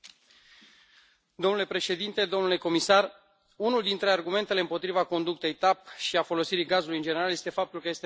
Domnule președinte, domnule comisar, unul dintre argumentele împotriva conductei Tap și a folosirii gazului, în general, este faptul că este nociv mediului.